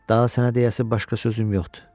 Daha sənə deyəcəyəsi başqa sözüm yoxdur.